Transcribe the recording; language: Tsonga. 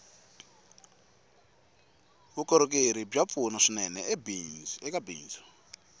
vukorhokeri bya pfuna swinene eka bindzu